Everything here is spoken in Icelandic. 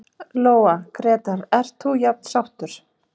Lóa: Grétar, ert þú jafn sáttur?